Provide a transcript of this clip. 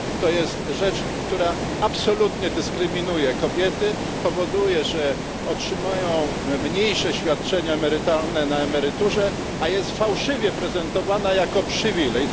To jest rzecz, która absolutnie dyskryminuje kobiety, powoduje, że otrzymają mniejsze świadczenia emerytalne na emeryturze, a jest fałszywie prezentowana jako przywilej.